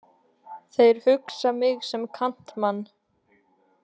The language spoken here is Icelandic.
Þeir hugsa mig sem kantmann.